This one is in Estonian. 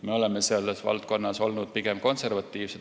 Meie oleme selles valdkonnas olnud pigem konservatiivsed.